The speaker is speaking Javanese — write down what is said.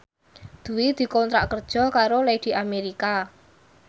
Dwi dikontrak kerja karo Lady America